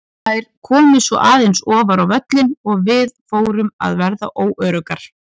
Þær komu svo aðeins ofar á völlinn og við fórum að verða óöruggar.